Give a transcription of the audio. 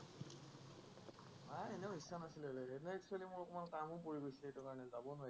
নাই এনেও ইচ্ছা নাছিলে মোৰ অকণমান কামো পৰি গৈছিলে, সেইকাৰণে যব নোৱাৰিলো।